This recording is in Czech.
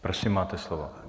Prosím, máte slovo.